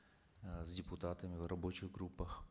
э с депутатами в рабочих группах